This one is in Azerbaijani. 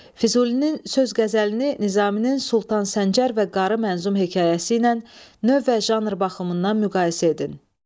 Füzulinin söz qəzəlini Nizaminin Sultan Səncər və Qarı mənzum hekayəsi ilə növ və janr baxımından müqayisə edin.